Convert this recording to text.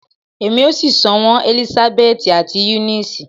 Emi o si sọ wọn Elisabeti ati Eunice